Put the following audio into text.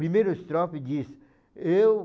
Primeiro estrofe diz, eu...